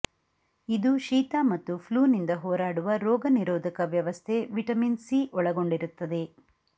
ಇದು ಶೀತ ಮತ್ತು ಫ್ಲೂನಿಂದ ಹೋರಾಡುವ ರೋಗ ನಿರೋಧಕ ವ್ಯವಸ್ಥೆ ವಿಟಾಮಿನ್ ಸಿ ಒಳಗೊಂಡಿರುತ್ತದೆ